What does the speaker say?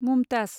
Mumtaz